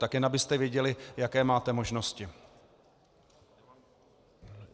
Tak jen abyste věděli, jaké máte možnosti.